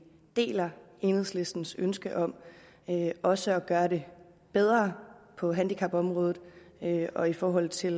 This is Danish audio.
deler enhedslistens ønske om også at gøre det bedre på handicapområdet og i forhold til